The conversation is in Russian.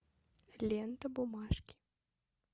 лента бумажки